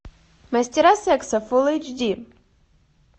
мастера секса фул эйч ди